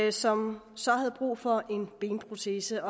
og som så havde brug for en benprotese